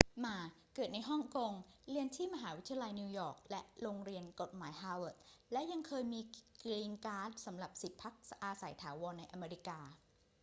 หม่า เกิดในฮ่องกง เรียนที่มหาวิทยาลัยนิวยอร์กและโรงเรียนกฎหมายฮาร์วาร์ด และยังเคยมี กรีนการ์ด สำหรับสิทธิ์พักอาศัยถาวรในอเมริกา